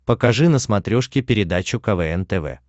покажи на смотрешке передачу квн тв